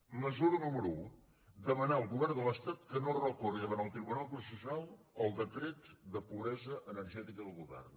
mesura número un demanar al govern de l’estat que no recorri davant el tribunal constitucional contra el decret de pobresa energètica del govern